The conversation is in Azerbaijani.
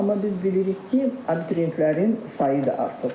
Amma biz bilirik ki, abituriyentlərin sayı da artıqdır.